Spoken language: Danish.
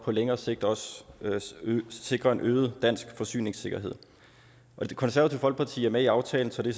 på længere sigt også sikre en øget dansk forsyningssikkerhed det konservative folkeparti er med i aftalen så det